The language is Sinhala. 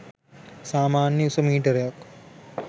සාමාන්‍ය උස මීටරයක්